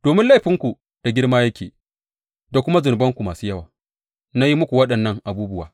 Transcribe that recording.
Domin laifinku da girma yake da kuma zunubanku masu yawa na yi muku waɗannan abubuwa.